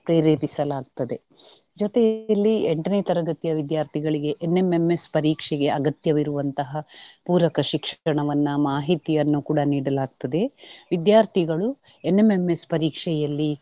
ಪ್ರೇರೇಪಿಸಲಾಗ್ತದೆ. ಜೊತೆಯಲ್ಲಿ ಎಂಟನೇ ತರಗತಿಯ ವಿದ್ಯಾರ್ಥಿಗಳಿಗೆ NMMS ಪರೀಕ್ಷೆಗೆ ಅಗತ್ಯವಿರುವಂತಹ ಪೂರಕ ಶಿಕ್ಷಣವನ್ನ ಮಾಹಿತಿಯನ್ನು ಕೂಡಾ ನೀಡಲಾಗ್ತದೆ. ವಿದ್ಯಾರ್ಥಿಗಳು NMMS ಪರೀಕ್ಷೆಯಲ್ಲಿ.